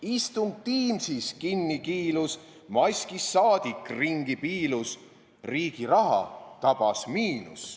Istung Teamsis kinni kiilus, maskis saadik ringi piilus, riigi raha tabas miinus.